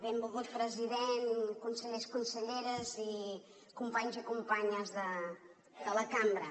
benvolgut president consellers conselleres i companys i companyes de la cambra